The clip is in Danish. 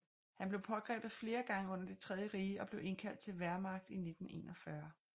Han blev pågrebet flere gange under Det tredje Rige og blev indkaldt til Wehrmacht i 1941